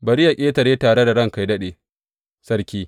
Bari yă ƙetare tare da ranka yă daɗe, sarki.